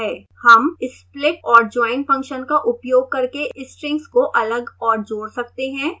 हम split और join function का उपयोग करके strings को अलग और जोड़ सकते हैं